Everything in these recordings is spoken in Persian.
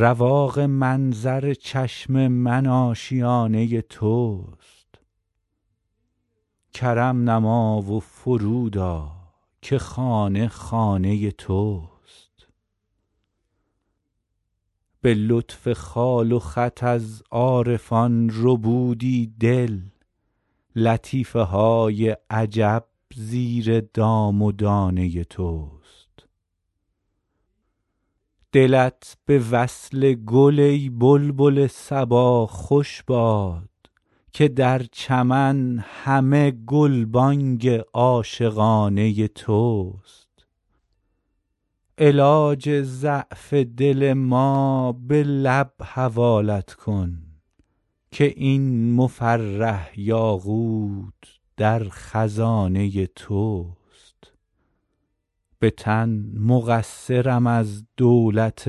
رواق منظر چشم من آشیانه توست کرم نما و فرود آ که خانه خانه توست به لطف خال و خط از عارفان ربودی دل لطیفه های عجب زیر دام و دانه توست دلت به وصل گل ای بلبل صبا خوش باد که در چمن همه گلبانگ عاشقانه توست علاج ضعف دل ما به لب حوالت کن که این مفرح یاقوت در خزانه توست به تن مقصرم از دولت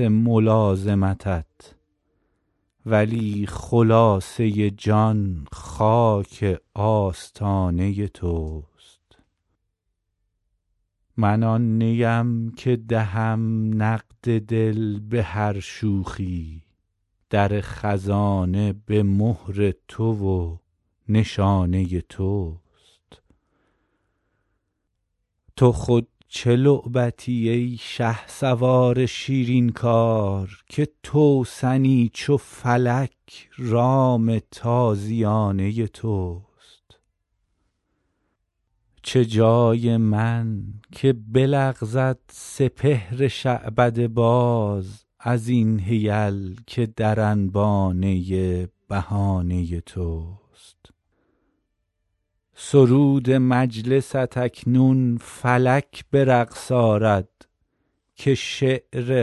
ملازمتت ولی خلاصه جان خاک آستانه توست من آن نیم که دهم نقد دل به هر شوخی در خزانه به مهر تو و نشانه توست تو خود چه لعبتی ای شهسوار شیرین کار که توسنی چو فلک رام تازیانه توست چه جای من که بلغزد سپهر شعبده باز از این حیل که در انبانه بهانه توست سرود مجلست اکنون فلک به رقص آرد که شعر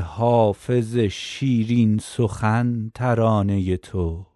حافظ شیرین سخن ترانه توست